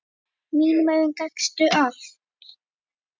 Í mínum augum gastu allt.